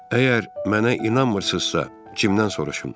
Əgər mənə inanmırsınızsa, Cimdən soruşun.